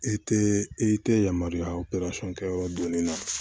I tɛ i tɛ yamaruya kɛ yɔrɔ doni na